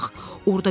Odur bağ.